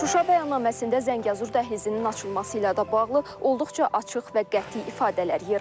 Şuşa bəyannaməsində Zəngəzur dəhlizinin açılması ilə də bağlı olduqca açıq və qəti ifadələr yer alır.